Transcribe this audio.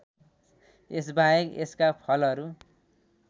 यसबाहेक यसका फलहरू